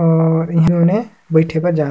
और इन्होंने बईथे बर जा--